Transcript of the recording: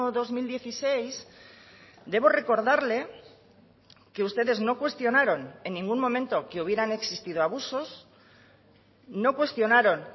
dos mil dieciséis debo recordarle que ustedes no cuestionaron en ningún momento que hubieran existido abusos no cuestionaron